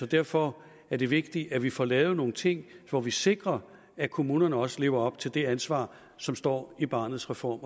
derfor er det vigtigt at vi får lavet nogle ting hvor vi sikrer at kommunerne også lever op til det ansvar som står i barnets reform